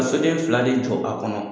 Ka soden fila de jɔ a kɔnɔ